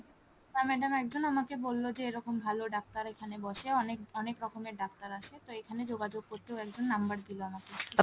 না madam একজন আমাকে বললো যে এইরকম ভালো ডাক্তার এখানে বসে অনেক অনেক রকমের ডাক্তার আসে তা এখানে যোগাযোগ করতে একজন number দিলো আমাকে